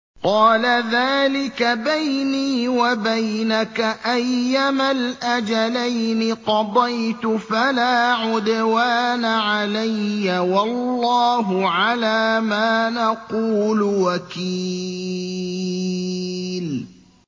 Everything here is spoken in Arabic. قَالَ ذَٰلِكَ بَيْنِي وَبَيْنَكَ ۖ أَيَّمَا الْأَجَلَيْنِ قَضَيْتُ فَلَا عُدْوَانَ عَلَيَّ ۖ وَاللَّهُ عَلَىٰ مَا نَقُولُ وَكِيلٌ